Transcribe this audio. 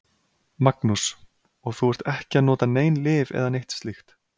Magnús: Og þú ert ekki að nota nein lyf eða neitt slíkt?